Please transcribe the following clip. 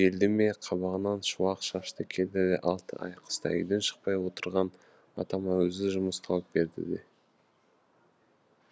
желді ме қабағынан шуақ шашты келді де алты ай қыста үйден шықпай отырған атама өзі жұмыс тауып берді де